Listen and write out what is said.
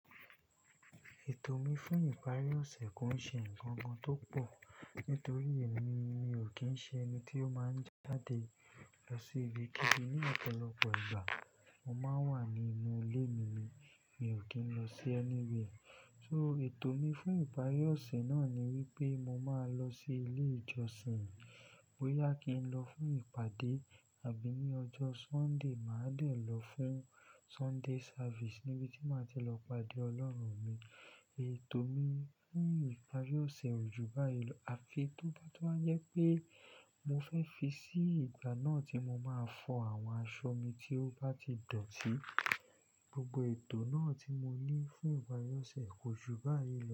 Ètò mi fún ìparí ọ̀sẹ̀ kò ṣe ǹkan kan tó pọ̀. Nítorí èmi, mi ò kí ń ṣe ẹni tí ó máa ń jáde lọ sí ibi kíbi. Ni ọ̀pọ̀lọpọ̀ ìgbà, mo máa ń wà nínú ilé mi. Mi ò kí ń lọ sí ẹni wiẹ̀. So ètò mi fún ìparí ọ̀sẹ̀ náà ni wípé mo máa lọ sí ilé ìjọsìn. Bo ya kí ń lọ fún ìpàdé àbí ní ọjọ́ Sunday, màá dẹ̀ lọ fún Sunday service níbi tí màá ti lọ pàdé Ọlọ́run mi. Ètò mi fún ìparí ọ̀sẹ̀ ojú báálẹ̀, àfi tó bá tún wa jẹ́ pé mo fẹ́ fi sí ìgbà náà tí mo máa fọ àwọn aṣọ mi tí ó bá ti dọ̀tí. Gbogbo ètò náà tí mo ní fún ìparí ọ̀sẹ̀ ojú báálẹ̀